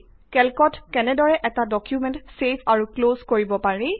কেল্কত কেনেদৰে এটা ডকুমেন্ট ছেভ আৰু ক্লজ কৰিব পাৰি